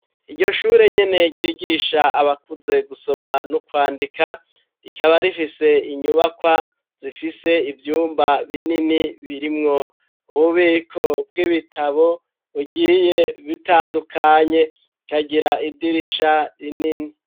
Iryo shure nyene ryigisha abakuze gusoma no kwandika rikaba rifise inyubakwa zifise ivyumba binini birimwo ububiko bw'ibitabo bugiye butandukanye bukagira idirisha rinini